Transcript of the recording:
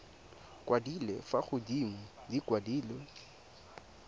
kwadilwe fa godimo di kwadilwe